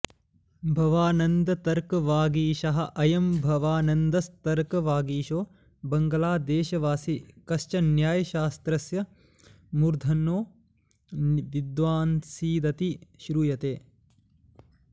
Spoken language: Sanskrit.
भवानन्दतर्कवागीशः अयं भवानन्दस्तर्कवागीशो बंगलादेशवासी कश्चिन्न्यायशास्त्रस्य मूर्धन्यो विद्वानासीदिति श्रूयते